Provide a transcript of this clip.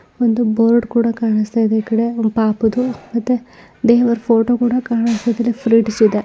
ಒಂದು ಬೋರ್ಡ್ ಕೂಡ ಕಾಣಿಸ್ತಾ ಇದೆ ಈ ಕಡೆ ಪಾಪುದು ಮತ್ತೆ ದೇವರ ಫೋಟೋ ಕೂಡ ಕಾಣಿಸ್ತಿದೆ ಫ್ರೆಂಡ್ಸ್ ಇದೆ.